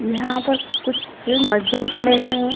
यहाँ पर कुछ सस मजदुर खड़े हुवे हैं।